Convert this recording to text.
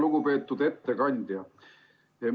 Lugupeetud ettekandja!